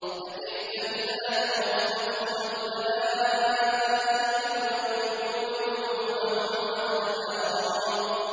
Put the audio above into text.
فَكَيْفَ إِذَا تَوَفَّتْهُمُ الْمَلَائِكَةُ يَضْرِبُونَ وُجُوهَهُمْ وَأَدْبَارَهُمْ